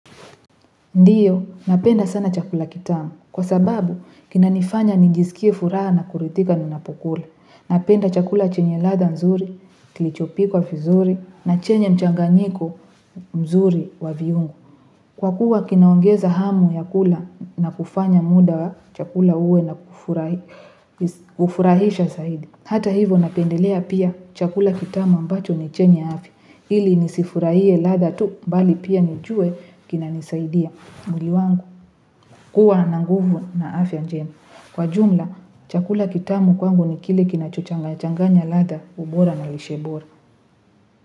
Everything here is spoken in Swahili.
Ndiyo, napenda sana chakula kitamu. Kwa sababu, kinanifanya nijisikie furaha na kuridhika ninapokula Napenda chakula chenye ladha nzuri, kilichopikwa vizuri, na chenye mchanganyiko mzuri wa viungo. Kwakuwa kinaongeza hamu ya kula na kufanya muda wa chakula uwe wa kufurahisha zaidi. Hata hivo napendelea pia chakula kitamu ambacho ni chenye afya Ili nisifurahie ladha tu bali pia nijue kinanisaidia. Na mwili wangu huwa na nguvu na afya njema Kwa jumla chakula kitamu kwangu ni kile kinachochangachanganya ladha ubora na lishebora.